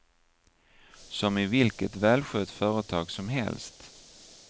Som i vilket välskött företag som helst.